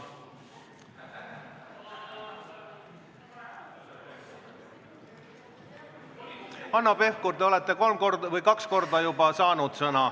Hanno Pevkur, te olete juba kaks korda sõna saanud.